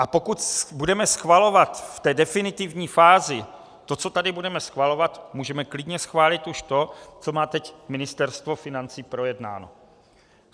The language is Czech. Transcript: A pokud budeme schvalovat v té definitivní fázi to, co tady budeme schvalovat, můžeme klidně schválit už to, co má teď Ministerstvo financí projednáno.